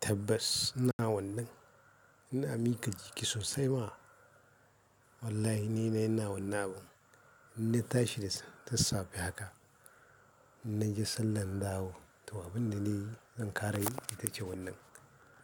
Tabbas ina wannan, ina mika jiki sosai ma. Wallahi ni na yana wannan abun, inna ta shi tassafe haka. Inna je sallan dawo, to abinda ne zan ƙara yi ita ce wannan.